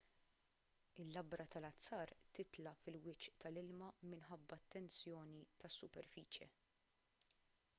il-labra tal-azzar titla' fil-wiċċ tal-ilma minħabba t-tensjoni tas-superfiċje